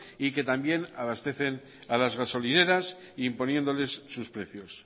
y que también abastecen a las gasolineras imponiéndoles sus precios